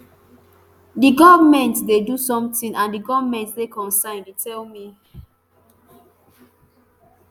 di goment dey do sometin and di goment dey concerned e tell me